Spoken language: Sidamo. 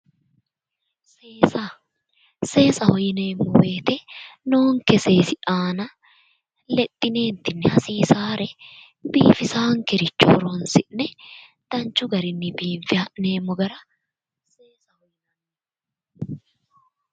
Seesaho yineemmo woyiite noonke seesi aana lexxineentinni hasisaare biifisaankere horonsi'ne danchu garinni biinfe ha'neemmo garaati